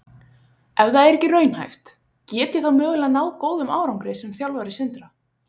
Ef það er ekki raunhæft, get ég þá mögulega náð góðum árangri sem þjálfari Sindra?